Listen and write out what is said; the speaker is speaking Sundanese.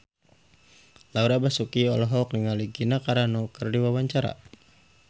Laura Basuki olohok ningali Gina Carano keur diwawancara